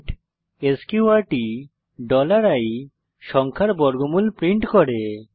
print sqrt i সংখ্যার বর্গমূল print করে